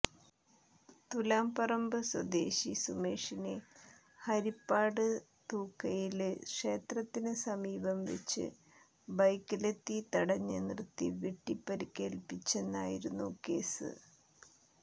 തുലാംപറമ്പ് സ്വദേശി സുമേഷിനെ ഹരിപ്പാട് തുക്കയില് ക്ഷേത്രത്തിന് സമീപം വെച്ച് ബൈക്കിലെത്തി തടഞ്ഞ് നിര്ത്തി വെട്ടി പരിക്കേല്പ്പിച്ചെന്നായിരുന്നു കേസ്